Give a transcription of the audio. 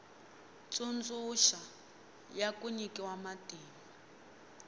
tsundzuxa ya ku nyikiwa matimba